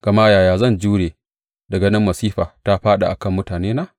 Gama yaya zan jure da ganin masifa ta faɗa a kan mutanena?